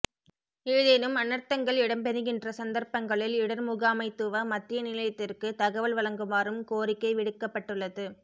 ஏதேனும் அனர்த்தங்கள் இடம்பெறுகின்ற சந்தர்பங்களில் இடர்முகாமைத்துவ மத்திய நிலையத்திற்கு தகவல் வழங்குமாறும் கோரிக்கை விடுக்கப்பட்டுள்ளது